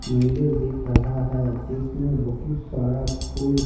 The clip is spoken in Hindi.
मंदिर दिख रहा है जिसमें बहुत सारा फूल--